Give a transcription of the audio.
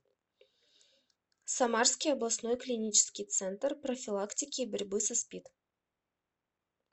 самарский областной клинический центр профилактики и борьбы со спид